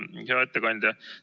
Hea ettekandja!